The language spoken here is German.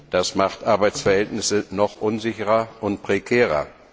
Das macht Arbeitsverhältnisse noch unsicherer und prekärer.